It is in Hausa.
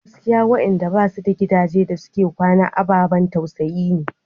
Gaskiya waɗanda ba su da gidaje da suke kwana ababan tausayi ne.